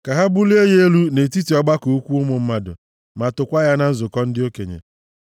Ka ha bulie ya elu nʼetiti ọgbakọ ukwu ụmụ mmadụ ma tookwa ya na nzukọ ndị okenye.